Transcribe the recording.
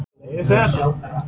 Á maður að leyfa sér þetta?